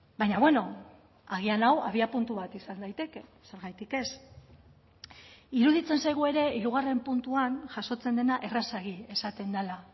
baina beno agian hau abia puntu bat izan daiteke zergatik ez iruditzen zaigu ere hirugarren puntuan jasotzen dena errazegi esaten dela